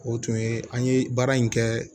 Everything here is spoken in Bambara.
O tun ye an ye baara in kɛ